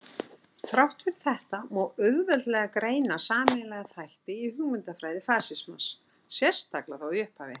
Þrátt fyrir þetta má auðveldlega greina sameiginlega þætti í hugmyndafræði fasismans, sérstaklega þó í upphafi.